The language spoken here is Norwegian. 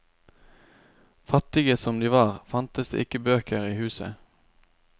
Fattige som de var, fantes det ikke bøker i huset.